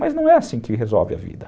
Mas não é assim que resolve a vida.